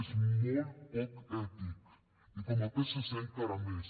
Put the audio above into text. és molt poc ètic i com a psc encara més